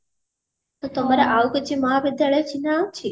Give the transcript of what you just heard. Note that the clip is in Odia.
ତମର ଆଉ କିଛି ମହାବିଦ୍ୟାଳୟ ଚିହ୍ନା ଅଛି